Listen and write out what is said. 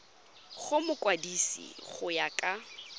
go mokwadise go ya ka